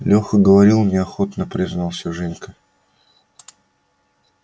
леха говорил неохотно признался женька